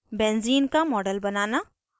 benzene का model बनाना